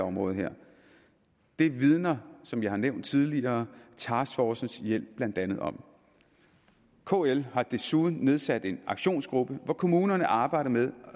område her det vidner som jeg har nævnt tidligere taskforcens hjælp blandt andet om kl har desuden nedsat en aktionsgruppe hvor kommunerne arbejder med